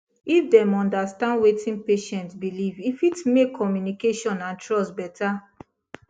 if dem understand wetin patient believe e fit make communication and trust better